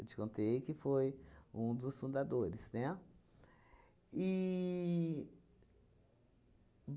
Eu te contei que foi um dos fundadores, né? E